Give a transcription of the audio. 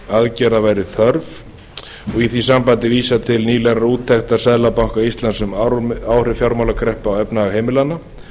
aðgerða væri þörf og í því sambandi vísað til nýlegrar úttektar seðlabanka íslands um áhrif fjármálakreppu á efnahag heimilanna